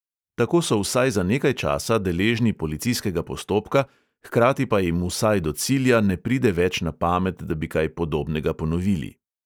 Tako so vsaj za nekaj časa deležni policijskega postopka, hkrati pa jim vsaj do cilja ne pride več na pamet, da bi kaj podobnega ponovili.